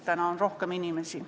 Täna on siin rohkem inimesi.